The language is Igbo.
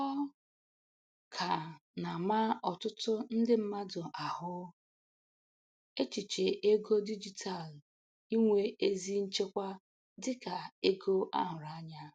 Ọ ka na-ama ọtụtụ ndị mmadụ ahụ, echiche ego dijitalu inwe ezi nchekwa dika ego a hụrụ anya.